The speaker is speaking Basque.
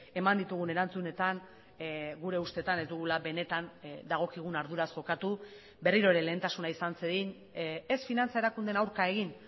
eman ditugun erantzunetan gure ustetan ez dugula benetan dagokigun arduraz jokatu berriro ere lehentasuna izan zedin ez finantza erakundeen aurka egin